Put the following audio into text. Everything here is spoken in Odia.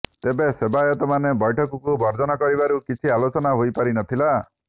ତେବେ ସେବାୟତମାନେ ବୈଠକକୁ ବର୍ଜନ କରିବାରୁ କିଛି ଆଲୋଚନା ହୋଇପାରି ନ ଥିଲା